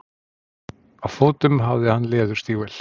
Á fótum hafði hann leðurstígvél.